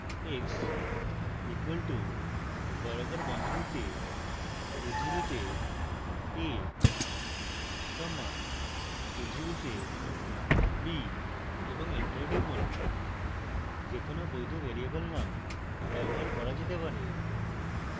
x equal to বর্গাকার বন্ধনীতে উদ্ধৃতিতে a comma উদ্ধৃতিতে b এবং enter টিপুন